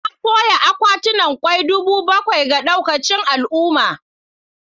Na soya akwatunan kwai dubu bakwai ga daukacin al'umma.